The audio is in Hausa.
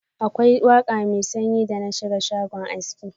Akwai waka mai sanyi da na shiga shago aski.